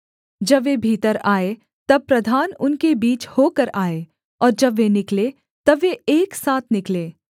जब वे भीतर आएँ तब प्रधान उनके बीच होकर आएँ और जब वे निकलें तब वे एक साथ निकलें